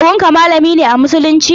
Kawun ka malamin musulunci ne?